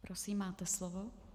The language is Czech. Prosím, máte slovo.